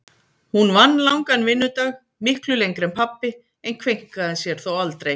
Hún vann langan vinnudag, miklu lengri en pabbi, en kveinkaði sér þó aldrei.